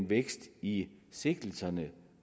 vækst i sigtelserne